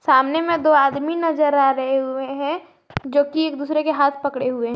सामने मे दो आदमी नज़र आ रहे हुए है जो कि एक दूसरे के हाथ पकड़े हुए--